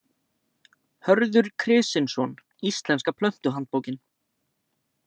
Hörður Krisinsson- Íslenska plöntuhandbókin.